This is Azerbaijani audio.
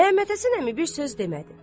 Məmmədhəsən əmi bir söz demədi.